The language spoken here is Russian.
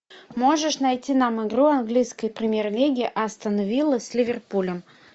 можешь найти нам игру английской премьер лиги астона виллы с ливерпулем